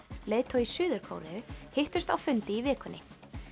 leiðtogi Suður Kóreu hittust á fundi í vikunni